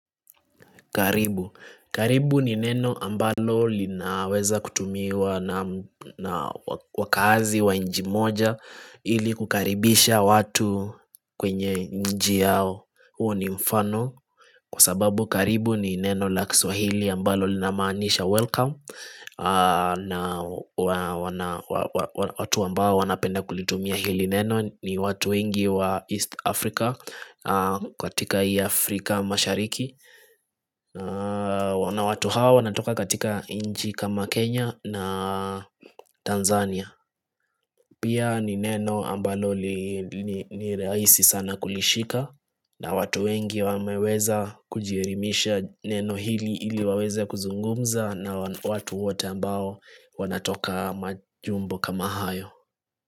Karibu ni neno ambalo linaweza kutumiwa na wakaazi wa nchi moja ili kukaribisha watu kwenye nchi yao huwa ni mfano Kwa sababu karibu ni neno la kiswahili ambalo linamaanisha welcome na watu ambao wanapenda kulitumia ili neno ni watu wengi wa East Africa kwa katika hii Afrika mashariki na watu hawa wanatoka katika nchi kama Kenya na Tanzania Pia ni neno ambalo ni rahisi sana kulishika na watu wengi wameweza kujielimisha neno hili ili waweze kuzungumza na watu wote ambao wanatoka majumbo kama hayo.